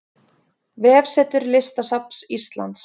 Vefsetur Listasafns Íslands